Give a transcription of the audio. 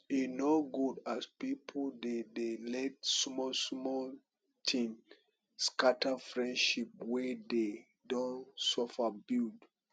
e no good as pipu dey dey let small small tin scatter friendship wey dey don suffer build